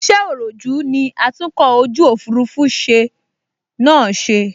Iṣẹ́ òròjú ní atúnkọ̀ ojú òfurufú ṣe náà ṣe